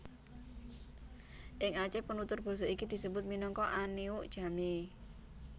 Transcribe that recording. Ing Aceh penutur basa iki disebut minangka Aneuk Jamee